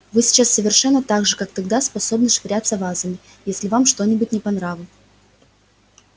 вы сейчас совершенно так же как тогда способны швыряться вазами если вам что нибудь не по нраву